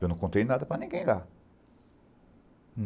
Eu não contei nada para ninguém lá.